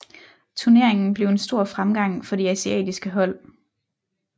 Turneringen blev en stor fremgang for de asiatiske hold